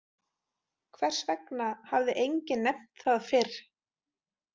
Hvers vegna hafði enginn nefnt það fyrr?